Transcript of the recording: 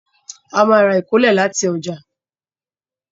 A má ra ìkólẹ̀ láti ọjà